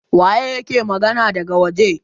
waye yake magana daga waje?